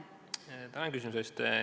Tänan küsimuse eest!